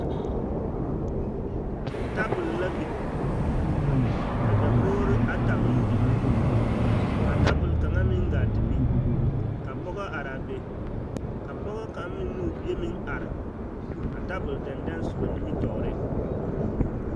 Tabol la biŋ ka dakogiri ata meŋ biŋ ka tabol kaŋa meŋ gaa te biŋ ka pɔgɔ araa be ka pɔgɔ kaŋ meŋ ne o bie meŋ are a tabol dɛndɛŋ soba nimitɔɔreŋ.